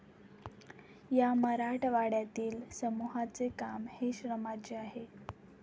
या मराठवाड्यातील समूहाचे काम हे श्रमाचे आहे.